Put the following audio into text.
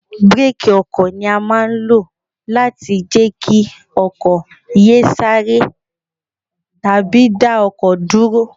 Bireeki ọkọ̀ ni a máa ń lo láti jẹ́ kí ọkọ̀ yè ẹ sáre tàbí dá ọkọ̀ dúró.